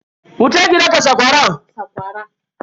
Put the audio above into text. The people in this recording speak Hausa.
Wuce ki daka sakwara.